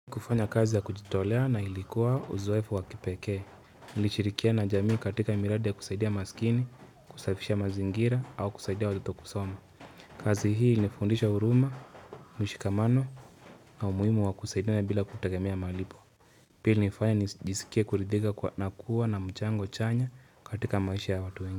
Kufanya kazi ya kujitolea na ilikuwa uzoefu wa kipekee. Nilishirikiana jamii katika miradi ya kusaidia maskini, kusafisha mazingira au kusaidia watoto kusoma. Kazi hii ilinifundisha huruma, mshikamano na umuhimu wa kusaidia bila kutegemea malipo. Pili ilinifanya nijisikie kuridhika kwa na kuwa na mchango chanya katika maisha ya watu wengi.